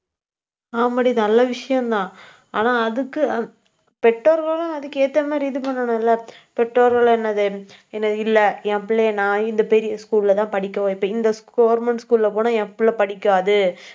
ஆமாடி நல்ல விஷயம்தான். ஆனா அதுக்கு பெற்றோர்களும் அதுக்கு ஏத்த மாதிரி, இது பண்ணணும்ல பெற்றோர்கள் என்னது இல்லை. என் பிள்ளையை நான், இந்த பெரிய school லதான் படிக்க வைப்பேன். இப்ப இந்த government school ல போனா என் பிள்ளை படிக்காது